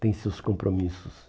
Tem seus compromissos.